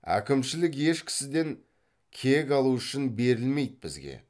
әкімшілік еш кісіден кек алу үшін берілмейді бізге